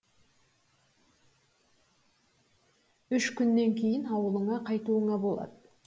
үш күннен кейін ауылыңа қайтуыңа болады